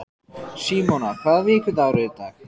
Símona, hvaða vikudagur er í dag?